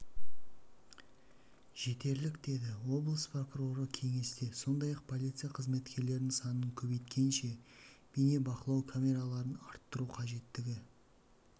жетерлік деді облыс прокуроры кеңесте сондай-ақ полиция қызметкерлерінің санын көбейткенше бейне бақылау камераларын арттыру қажеттігі